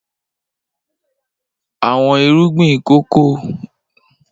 Awọn irugbin kòkó ni a lo lati ṣe sokókólétì